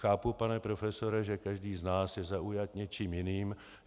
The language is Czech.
Chápu, pane profesore, že každý z nás je zaujat něčím jiným.